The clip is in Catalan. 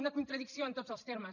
una contradicció en tots els termes